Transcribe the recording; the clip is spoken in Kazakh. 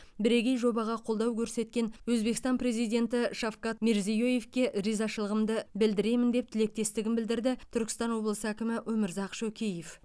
бірегей жобаға қолдау көрсеткен өзбекстан президенті шавкат мирзиеевке ризашылығымды білдіремін деп тілектестігін білдірді түркістан облысы әкімі өмірзақ шөкеев